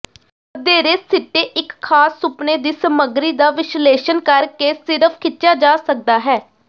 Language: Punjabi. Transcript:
ਵਧੇਰੇ ਸਿੱਟੇ ਇੱਕ ਖਾਸ ਸੁਪਨੇ ਦੀ ਸਮੱਗਰੀ ਦਾ ਵਿਸ਼ਲੇਸ਼ਣ ਕਰਕੇ ਸਿਰਫ ਖਿੱਚਿਆ ਜਾ ਸਕਦਾ ਹੈ